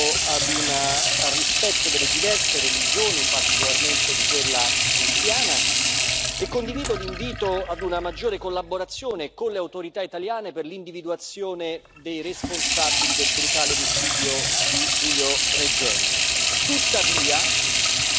Condivido l'invito ad un rispetto delle diverse religioni, particolarmente di quella cristiana, e condivido l'invito ad una maggiore collaborazione con le autorità italiane per l'individuazione dei responsabili del brutale omicidio di Giulio Regeni.